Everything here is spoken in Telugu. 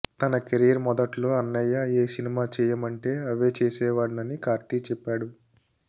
తన కెరీర్ మొదట్లో అన్నయ్య ఏ సినిమా చేయమంటే అవే చేసేవాడినని కార్తీ చెప్పాడు